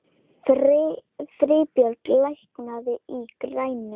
Friðbjörg, lækkaðu í græjunum.